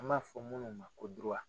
An b'a fɔ minnu ma ko